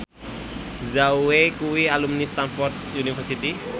Zhao Wei kuwi alumni Stamford University